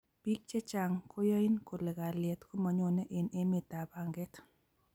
biik chechang koyain kole kalyet komanyone eng emetab panget